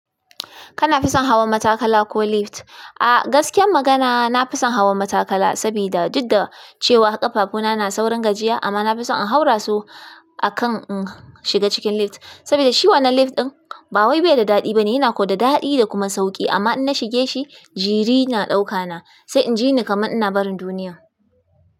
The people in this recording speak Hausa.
Kana fi son hawa matakala ko lift? A gaskiyar magana, na fi son hawa matakala saboda, duk da cewa ƙafafuna na saurin gajiya amma na fi son in haura su akan in shiga cikin lift, saboda shi wannan lift ɗin ba wai bai da daɗi bane, yana ko da daɗi da kuma sauƙi amma in na shige shi, jiri na ɗauka na, sai in ji ne kaman ina barin duniya.